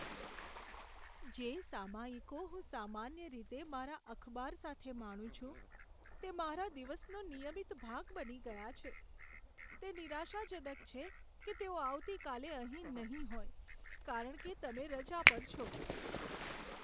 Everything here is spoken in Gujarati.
જે સામયિકો હું સામાન્ય રીતે મારા અખબાર સાથે માણું છું તે મારા દિવસનો નિયમિત ભાગ બની ગયા છે. તે નિરાશાજનક છે કે તેઓ આવતીકાલે અહીં નહીં હોય કારણ કે તમે રજા પર છો.